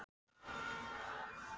Gestir okkar hneigðu sig í þakkarskyni.